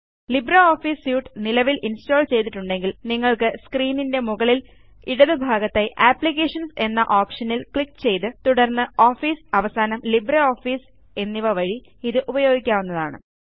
LibreOffice suite നിലവിൽ install ചെയ്തിട്ടുണ്ടെങ്കിൽ നിങ്ങൾക്ക് സ്ക്രീനിൻറെ മുകളിൽ ഇടതുഭാഗത്തായി അപ്ലിക്കേഷൻസ് എന്ന ഓപ്ഷനിൽ ക്ലിക്ക് ചെയ്ത് തുടർന്ന് ഓഫീസ് അവസാനംLibreOffice എന്നിവ വഴി ഇത് ഉപയോഗിക്കാവുന്നതാണ്